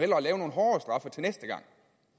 lave nogle hårdere straffe til næste gang